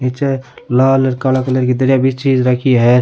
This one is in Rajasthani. निचे लाल काला कलर की दरिया बिछीज राखी है।